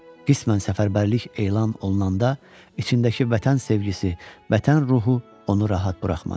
Qismən səfərbərlik elan olunanda içindəki vətən sevgisi, vətən ruhu onu rahat buraxmadı.